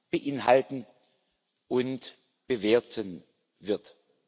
beinhalten und bewerten wird.